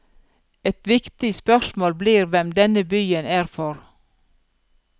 Et viktig spørsmål blir hvem denne byen er for.